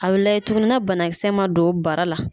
a bɛ layɛ tuguni nɛ banakisɛ ma don baara la.